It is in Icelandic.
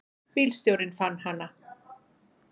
Bílstjórinn fann hana.